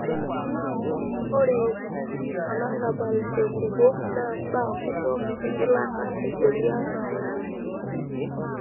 Ore olarabal tenkukuo naa mbaa kumok engilata e sheria naayau.